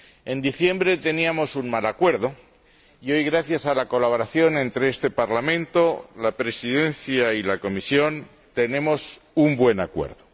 En diciembre teníamos un mal acuerdo y hoy, gracias a la colaboración entre este Parlamento, la Presidencia en ejercicio del Consejo y la Comisión, tenemos un buen acuerdo.